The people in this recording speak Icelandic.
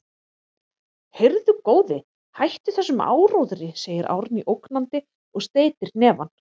Heyrðu, góði, hættu þessum áróðri, segir Árný ógnandi og steytir hnefann.